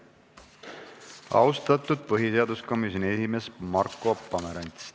Austatud põhiseaduskomisjoni esimees Marko Pomerants!